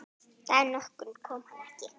Dag nokkurn kom hann ekki.